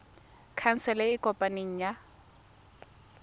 khansele e e kopaneng ya